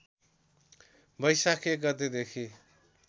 वैशाख १ गतेदेखि